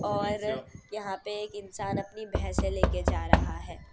और यहां पे एक इंसान अपनी भैसे ले के जा रहा है।